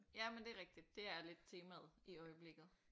Ja men det er rigtig det er lidt temaet i øjeblikket